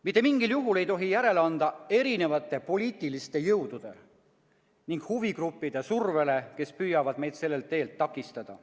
Mitte mingil juhul ei tohi järele anda erinevate poliitiliste jõudude ning huvigruppide survele, kes püüavad meid sellel teel takistada.